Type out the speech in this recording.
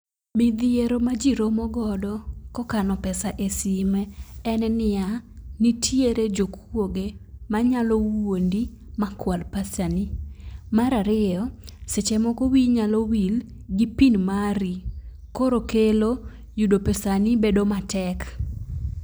Midhiero ma jii romo godo kokano pesa e sime en niya, nitiere jokuoge manyalo wuondi makwal pesani mar ariyo seche moko wiyi nyalo wil gi pin mari koro kelo yudo pesani bedo matek.